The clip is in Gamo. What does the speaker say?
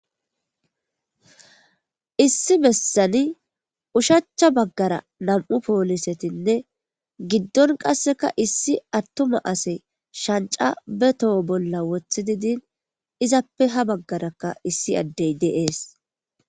Issi bessani ushachcha baggara nam7u poolisetinne giddon qasseka issi attuma ase shancca be toho bolla wothididin izappe ha baggarakka issi addey de7ees.